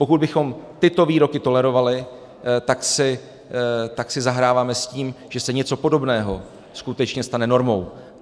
Pokud bychom tyto výroky tolerovali, tak si zahráváme s tím, že se něco podobného skutečně stane normou.